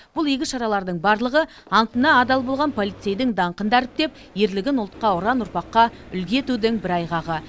бұл игі шаралардың барлығы антына адал болған полицейдің даңқын дәріптеп ерлігін ұлтқа ұран ұрпаққа үлгі етудің бір айғағы